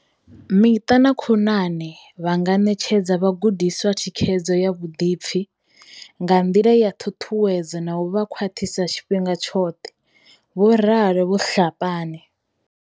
Miṱa na khonani vha nga ṋetshedza vhagudiswa thikhedzo ya vhuḓipfi, nga nḓila ya ṱhuṱhuwedzo na u vha khwaṱhisa tshifhinga tshoṱhe, vho ralo Vho Tlhapane.